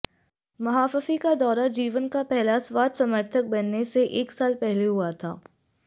महाफफी का दौरा जीवन का पहला स्वाद समर्थक बनने से एक साल पहले हुआ था